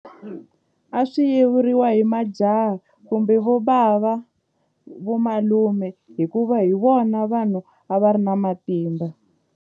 A swi yevuriwa hi majaha kumbe vobava vomalume hikuva hi vona vanhu a va ri na matimba.